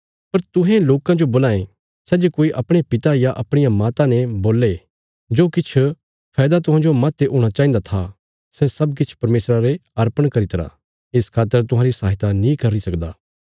पर तुहें लोकां जो बोलां ये सै जे कोई अपणे पिता या अपणिया माता ने बोल्ले जो किछ फैदा तुहांजो माह्ते हूणा चाहिन्दा था सै सब किछ परमेशरा रे अर्पण करी तरा इस खातर तुहांरी सहायता नीं करी सकदा